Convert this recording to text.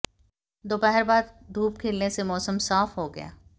दोपहर बाद धूप खिलने से मौसम साफ हो गया